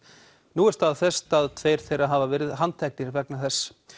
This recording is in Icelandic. nú er staðfest að tveir þeirra hafa verið handteknir vegna þess